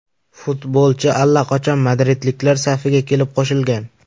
Futbolchi allaqachon madridliklar safiga kelib qo‘shilgan.